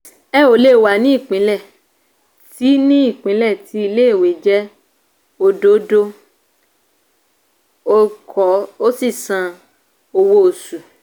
ẹ ò lè wà ní ìpínlẹ̀ tí ní ìpínlẹ̀ tí ilé-ìwé jẹ́ òdòdó olùkọ́ ò sì san owó oṣù